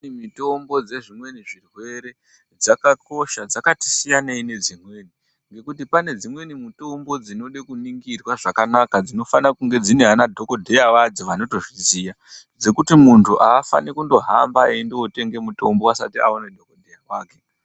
Dzimweni mutombo dzezvimweni zvirwere dzakakosha. Dzakati siyanei ngedzimweni ngekuti pane dzimweni mutombo dzinofane kuningirwa zvakanaka dzinofane kunge dzine vana dhokodheya vadzo vanotozviziya. Zvekuti muntu afani kuhamba eindotenge mutombo asati aona dhokodheya wake.